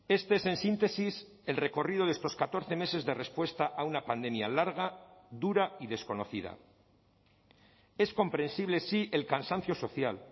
este es en síntesis el recorrido de estos catorce meses de respuesta a una pandemia larga dura y desconocida es comprensible sí el cansancio social